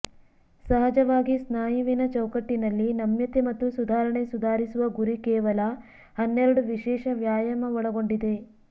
ಸಹಜವಾಗಿ ಸ್ನಾಯುವಿನ ಚೌಕಟ್ಟಿನಲ್ಲಿ ನಮ್ಯತೆ ಮತ್ತು ಸುಧಾರಣೆ ಸುಧಾರಿಸುವ ಗುರಿ ಕೇವಲ ಹನ್ನೆರಡು ವಿಶೇಷ ವ್ಯಾಯಾಮ ಒಳಗೊಂಡಿದೆ